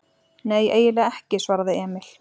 Nei, eiginlega ekki, svaraði Emil.